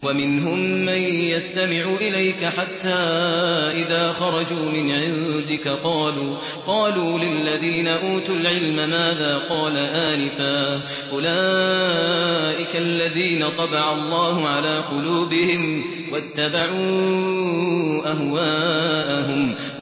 وَمِنْهُم مَّن يَسْتَمِعُ إِلَيْكَ حَتَّىٰ إِذَا خَرَجُوا مِنْ عِندِكَ قَالُوا لِلَّذِينَ أُوتُوا الْعِلْمَ مَاذَا قَالَ آنِفًا ۚ أُولَٰئِكَ الَّذِينَ طَبَعَ اللَّهُ عَلَىٰ قُلُوبِهِمْ وَاتَّبَعُوا أَهْوَاءَهُمْ